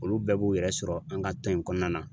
Olu bɛɛ b'u yɛrɛ sɔrɔ an ka tɔn in kɔnɔna na.